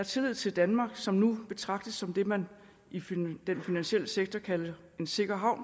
tillid til danmark som nu betragtes som det man i den finansielle sektor kalder en sikker havn